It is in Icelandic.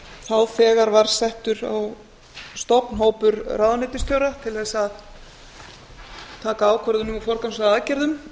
þá þegar var settur á stofn hópur ráðuneytisstjóra til þess að taka ákvörðun um og forgangsraða aðgerðum